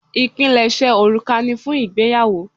Ipinleṣe òrùka ni fún ìgbéyàwó.